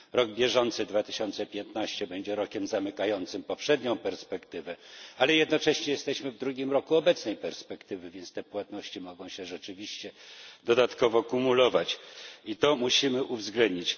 Rok bieżący, 2015, będzie rokiem zamykającym poprzednią perspektywę, ale jednocześnie jesteśmy w drugim roku obecnej perspektywy, więc te płatności mogą się rzeczywiście dodatkowo kumulować, i to musimy uwzględnić.